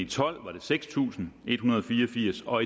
tolv var det seks tusind en hundrede og fire og firs og